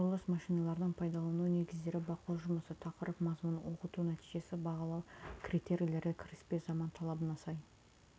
құрылыс машиналарының пайдалану негіздері бақылау жұмысы тақырып мазмұны оқыту нәтижесі бағалау критерийлері кіріспе заман талабына сай